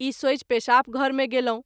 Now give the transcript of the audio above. ई सोचि पेशाब घर मे गेलहुँ।